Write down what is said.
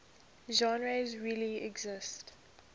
genres really exist